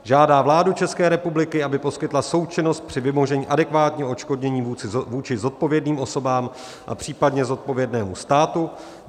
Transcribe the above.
Žádá vládu České republiky, aby poskytla součinnost při vymožení adekvátního odškodnění vůči zodpovědným osobám a případně zodpovědnému státu.